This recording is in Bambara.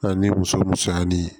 An ni muso musoya ni